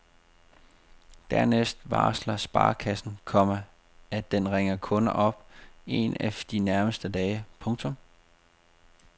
Dernæst varsler sparekassen, komma at den ringer kunden op en af de nærmeste dage. punktum